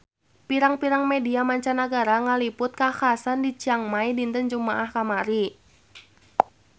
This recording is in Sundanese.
Pirang-pirang media mancanagara ngaliput kakhasan di Chiang Rai dinten Jumaah kamari